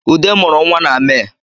Ude mụrụ nwa na Mee